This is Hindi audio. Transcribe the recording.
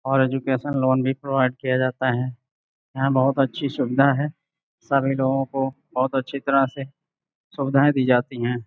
और एजुकेशन लोन भी प्रोवाइड किया जाता है यहां बहुत अच्छी सुविधा है सभी लोगों को बहुत अच्छी तरह से सुविधाएं दी जाती हैं।